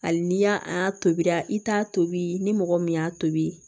Hali n'i y'a a tobira i t'a tobi ni mɔgɔ min y'a tobi